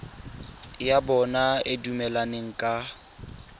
ya bona e dumelaneng ka